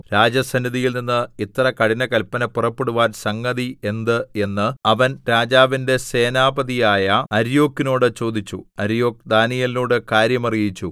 രാജസന്നിധിയിൽനിന്ന് ഇത്ര കഠിനകല്പന പുറപ്പെടുവാൻ സംഗതി എന്ത് എന്ന് അവൻ രാജാവിന്റെ സേനാപതിയായ അര്യോക്കിനോട് ചോദിച്ചു അര്യോക്ക് ദാനീയേലിനോട് കാര്യം അറിയിച്ചു